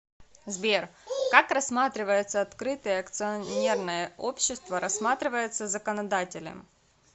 сбер как рассматривается открытое акционерное общество рассматривается законодателем